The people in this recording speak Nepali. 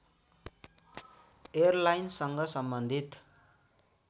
एयरलाइन्ससँग सम्बन्धित